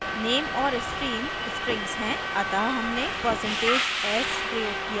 name और stream strings हैं अतः हमने % s प्रयोग किया है